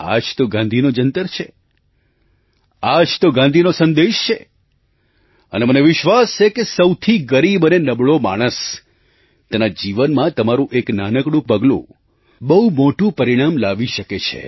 આ જ તો ગાંધીનો જંતર છે આ જ તો ગાંધીનો સંદેશ છે અને મને વિશ્વાસ છે કે સૌથી ગરીબ અને નબળો માણસ તેના જીવનમાં તમારું એક નાનકડું પગલું બહુ મોટું પરિણામ લાવી શકે છે